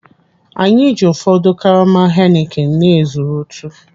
Anyị ji ụfọdụ karama Heineken na-ezurutu.